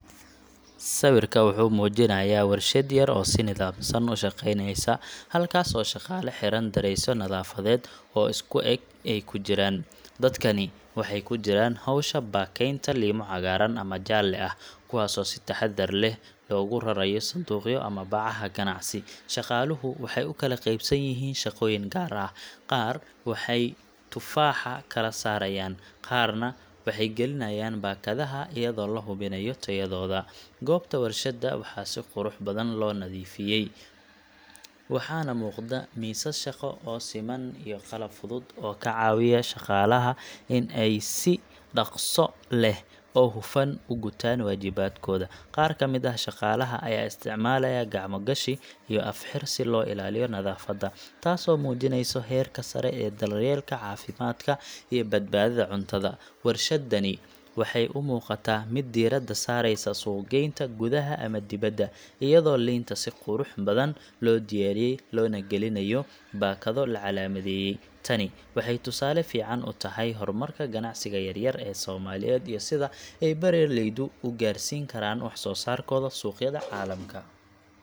Sawirka wuxuu muujinayaa warshad yar oo si nidaamsan u shaqeyneysa, halkaas oo shaqaale xiran dareesyo nadaafadeed oo isku eg ay ku jiraan. Dadkani waxay ku jiraan hawsha baakaynta liimo cagaaran ama jaalle ah, kuwaasoo si taxaddar leh loogu rarayo sanduuqyo ama bacaha ganacsi. Shaqaaluhu waxay u kala qaybsan yihiin shaqooyin gaar ah: qaar waxay tufaaxa kala saarayaan, qaarna waxay gelinayaan baakadaha iyadoo la hubinayo tayadooda. Goobta warshadda waxaa si qurux badan loo nadiifiyay, waxaana muuqda miisas shaqo oo siman iyo qalab fudud oo ka caawiya shaqaalaha in ay si dhakhso leh oo hufan u gutaan waajibaadkooda. Qaar ka mid ah shaqaalaha ayaa isticmaalaya gacmo gashi iyo af-xir si loo ilaaliyo nadaafadda, taasoo muujinaysa heerka sare ee daryeelka caafimaadka iyo badbaadada cuntada. Warshaddani waxay u muuqataa mid diiradda saareysa suuq-geynta gudaha ama dibadda, iyadoo liinta si qurux badan loo diyaariyay loona gelinayo baakado la calaamadeeyay. Tani waxay tusaale fiican u tahay horumarka ganacsiga yar-yar ee Soomaaliyeed iyo sida ay beeraleyda u gaarsiin karaan wax-soosaarkooda suuqyada caalamka.